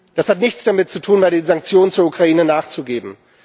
Das hat nichts damit zu tun, bei den Sanktionen zur Ukraine nachzugeben.